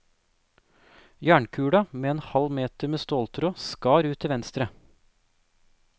Jernkulen med en halv meter med ståltråd, skar ut til venstre.